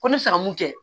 Ko n bɛ fɛ ka mun kɛ